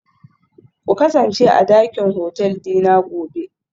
Ku kasance a dakin hotel dina gobe